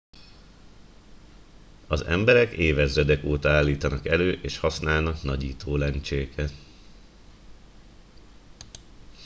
az emberek évezredek óta állítanak elő és használnak nagyító lencséket